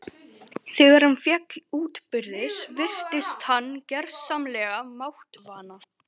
Þegar hann féll útbyrðis virtist hann gersamlega máttvana.